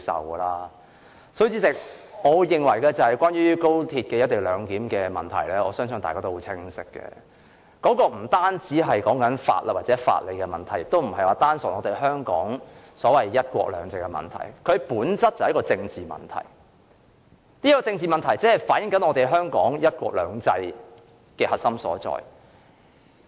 因此，代理主席，我認為關於高鐵"一地兩檢"方案的問題，相信大家都很清楚知道不單是法律或法理問題，也不單純是涉及香港"一國兩制"的問題，而是在本質上屬政治問題，只反映出香港"一國兩制"的核心所在。